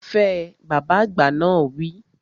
Fẹ! Bàbá àgbà náà wi